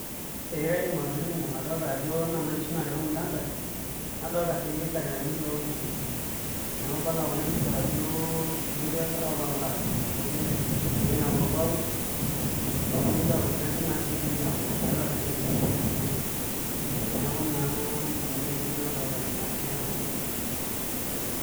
Ee kaidim atolimu, adolta ajo noona nkishu naatii ormunada nadolta sii ildakitarini loonkishu neeku ibala kuna kishu ajo kepoitoi aapuo apuo aaramat egirai naa apuo aud epoitoi aaud najo naa sii idimi aaku eeta olchani oidimi aishoo tenewueji neeku naa ninye nanu entoki nadolita tena pisha naa.